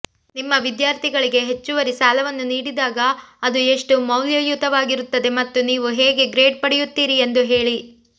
ನಿಮ್ಮ ವಿದ್ಯಾರ್ಥಿಗಳಿಗೆ ಹೆಚ್ಚುವರಿ ಸಾಲವನ್ನು ನೀಡಿದಾಗ ಅದು ಎಷ್ಟು ಮೌಲ್ಯಯುತವಾಗಿರುತ್ತದೆ ಮತ್ತು ನೀವು ಹೇಗೆ ಗ್ರೇಡ್ ಪಡೆಯುತ್ತೀರಿ ಎಂದು ಹೇಳಿ